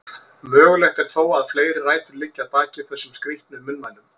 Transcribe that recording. Mögulegt er þó að fleiri rætur liggi að baki þessum skrítnu munnmælum.